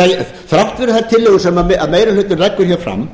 ræðir þrátt fyrir þær tillögur sem meiri hlutinn leggur fram